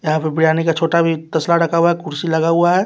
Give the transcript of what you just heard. यहां पर बिरयानी का छोटा भी तसला रखा हुआ है कुर्सी लगा हुआ है।